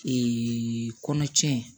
kɔnɔ cɛn